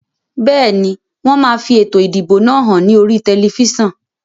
Bẹ́ẹ̀ni, wón máa fi ètò ìdìbò náà hàn ní oríi tẹlifísàn